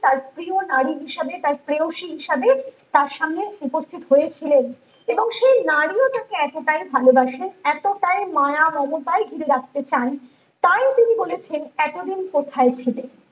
তার প্রিয় নারী হিসেবে তার প্রেয়সী হিসেবে তার সামনে উপস্থিত হয়েছিলেন এবং সে নারীও তাঁকে এতটা ভালোবাসেন এতটাই ময় মমতায় ঘিরে রাখতে চায় তাই তিনি বলেছেন এতদিন কোথায় ছিলে